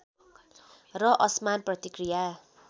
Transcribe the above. र असमान प्रतिक्रिया